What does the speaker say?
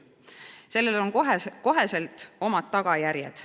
Sellel on kohe omad tagajärjed.